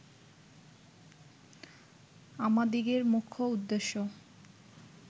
আমাদিগের মুখ্য উদ্দেশ্য